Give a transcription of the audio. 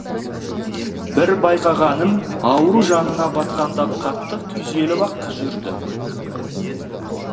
бір байқағаным ауру жанына батқанда қатты күйзеліп ақ жүрді